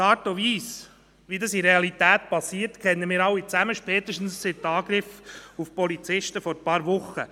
Die Art und Weise, wie das in der Realität geschieht, kennen wir alle spätestens seit den Angriffen auf Polizisten vor ein paar Wochen.